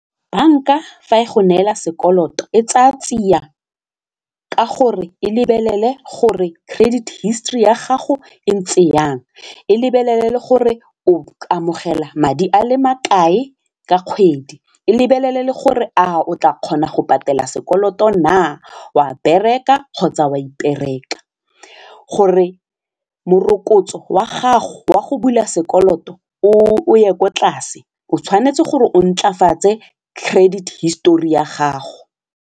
Bank-a fa e go neela sekoloto e tsaya tsia ka gore e lebelele gore credit history ya gago e ntse yang, e lebelele le gore o amogela madi a le makae ka kgwedi, e lebelele le gore a o tla kgona go patela sekoloto na wa bereka kgotsa wa ipereka, gore morokotso wa gago wa go bula sekoloto o ye kwa tlase o tshwanetse gore o ntlafatse credit history ya gago.